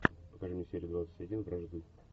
покажи мне серию двадцать один вражды